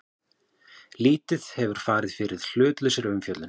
Lítið hafi farið fyrir hlutlausri umfjöllun